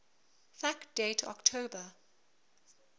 fact date october